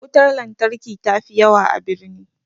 Wutar lantarki ta fi yawa a birni